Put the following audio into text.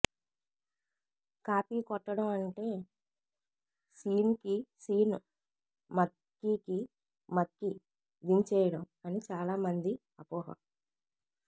copy కొట్టడం అంటే సీన్కి సీన్ మక్కీకి మక్కీ దించేయడం అని చాలా మంది అపోహ